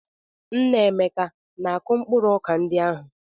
Nna Emeka na-akụ mkpụrụ ọka ndị ahụ?